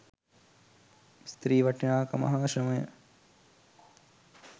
ස්ත්‍රී වටිනාකම හා ශ්‍රමය